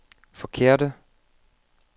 forkerte